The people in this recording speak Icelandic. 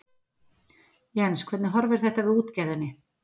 Jens hvernig horfir þetta við útgerðinni?